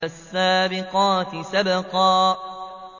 فَالسَّابِقَاتِ سَبْقًا